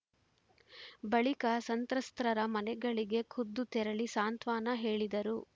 ಬಳಿಕ ಸಂತ್ರಸ್ತರರ ಮನೆಗಳಿಗೆ ಖುದ್ದು ತೆರಳಿ ಸಾಂತ್ವನ ಹೇಳಿದರು